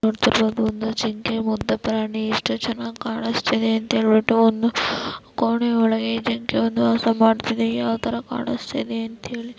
ನೋಡುತ್ತಿರಬಹುದು ಒಂದು ಜಿಂಕೆ ಮುಗ್ದ ಪ್ರಾಣಿ ಎಷ್ಟು ಚೆನ್ನಾಗಿ ಕಾಣಿಸ್ತಿದೆ ಅಂತ ಹೇಳ್ಬಿಟ್ಟು ಒಂದು ಕೋಣೆ ಒಳಗೆ ಜಿಂಕೆ ಒಂದು ವಾಸ ಮಾಡುತ್ತಿದ್ದೆ ಯಾವತರ ಕಾಣಿಸ್ತಿದೆಯಂತ ಹೇಳಿ .